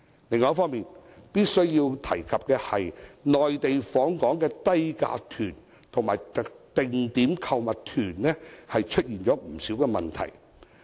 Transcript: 另一方面，我必須提及內地訪港的低價團和定點購物團出現不少問題。